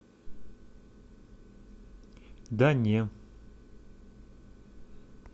да не